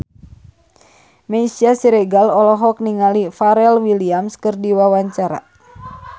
Meisya Siregar olohok ningali Pharrell Williams keur diwawancara